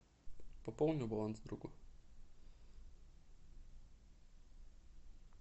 пополни баланс другу